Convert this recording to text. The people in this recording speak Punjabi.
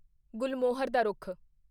ਗੁਲਮੋਹਰ ਦਾ ਰੁੱਖ